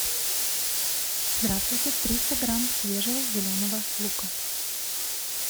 здравствуйте триста грамм свежего зеленого лука